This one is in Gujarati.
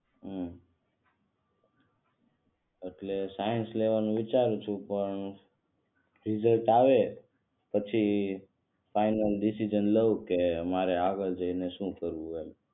હમ એટલે સાયન્સ લેવાનો વિચાર છે પણ રીઝલ્ટ આવે પછી ફાઇનલ ડિસિઝન લઉ કે મારે આગળ જઈને શું કરવું છે એમ.